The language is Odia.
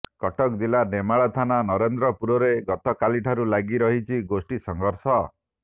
କଟକ ଜିଲ୍ଲା ନେମାଳ ଥାନା ନରେନ୍ଦ୍ରପୁରରେ ଗତକାଲିଠାରୁ ଲାଗି ରହିଛି ଗୋଷ୍ଠୀ ସଂଘର୍ଷ